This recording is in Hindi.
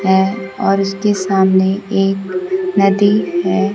है और उसके सामने एक नदी है।